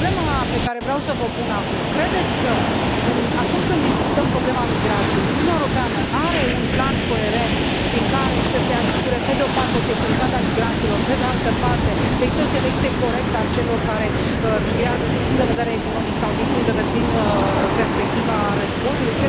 Problema pe care vreau să o pun acum credeți că, acum, când discutăm problema migrației, Uniunea Europeană are un plan coerent prin care să se asigure, pe de o parte, securitatea migranților, pe de altă parte, o selecție corectă a celor care migrează din punct de vedere economic sau din perspectiva războiului?